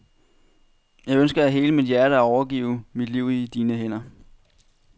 Jeg ønsker af hele mit hjerte at overgive mit liv i dine hænder.